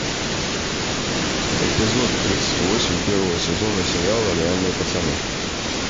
эпизод тридцать восемь первого сезона сериала реальные пацаны